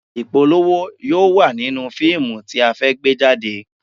Ìpolówó yóò wà nínú fíìmù tí a fẹ́ gbé jáde